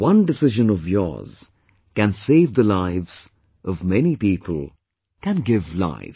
One decision of yours can save the lives of many people, can give life